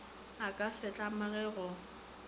a ka se tlamege go